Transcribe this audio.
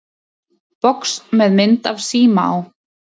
Box með mynd af síma á.